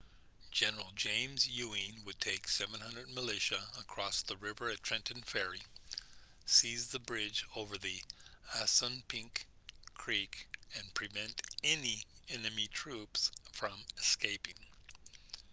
general james ewing would take 700 militia across the river at trenton ferry seize the bridge over the assunpink creek and prevent any enemy troops from escaping